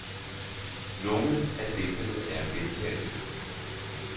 Nogle af digtene er gentagelser.